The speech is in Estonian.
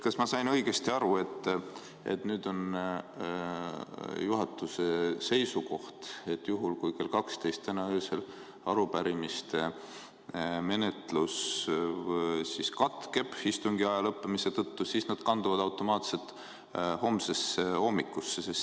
Kas ma sain õigesti aru, et nüüd on juhatuse seisukoht, et juhul kui kell 12 täna öösel arupärimiste menetlus katkeb istungi aja lõppemise tõttu, siis need kanduvad automaatselt homsesse hommikusse?